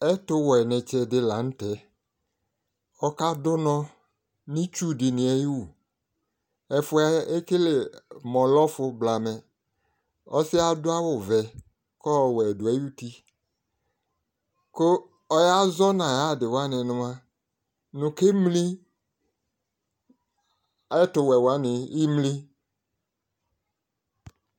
Ɛtʋwɛtsɩ dɩnɩ la n'tɛ ɔka dʋ nɔ n'itsu dɩnɩ ayiwu Ɛfʋ yɛ ekele mʋ ɔlɛ ɔfʋ blamɛ Ɔsɩ yɛ adʋ awʋ vɛ kʋ ɔwɛ dʋ ay'uti kʋ ɔyazɔ n'ayadɩwanɩ nʋ mua, nʋ kemli ! Ɛtʋwɛ wanɩ, imli !